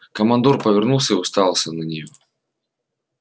командор повернулся и уставился на нее